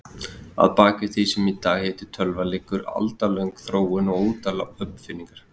Að baki því sem í dag heitir tölva liggur aldalöng þróun og ótal uppfinningar.